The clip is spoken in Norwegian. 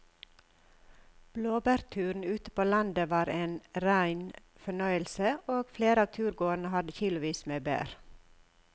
Blåbærturen ute på landet var en rein fornøyelse og flere av turgåerene hadde kilosvis med bær.